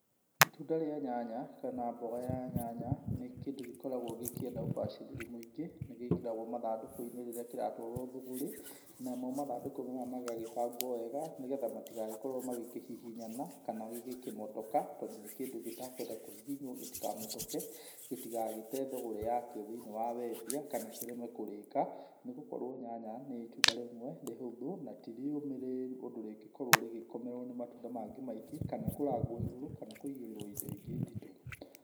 Itunda rĩa nyanya kana mboga ya nyanya nĩ kĩndũ gĩkoragwo gĩkenda ũbacĩrĩri mũingĩ nĩgĩkĩragwo mathandũkũ-inĩ rĩrĩa kĩratwarwo thũgũrĩ namo mathandũkũ maya magagĩbangwo wega nĩgetha matigagĩkorwo makĩhihinyana kana gĩkĩmotoka tondũ nĩ kĩndũ gĩtekwenfa kũhihinywo gĩtikamotoke gĩtigagĩye thũgũrĩ wakĩo thĩinĩ wa wendia kana kĩreme kũrĩka nĩ gũkorwo nyanya nĩ itunda rĩmwe rĩ hũthũ na ti rĩũmĩrĩru ũndũ rĩngĩkorwo rĩgĩkomerwo nĩ matunda mangĩ maingĩ kana kũrangwo igũrũ kana kũigĩrĩrwo indo ingĩ nditũ.